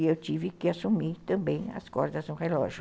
E eu tive que assumir também as cordas no relógio.